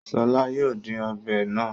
Ṣọl yóò dín ọbẹ̀ náà.